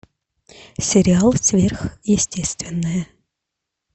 сериал сверхъестественное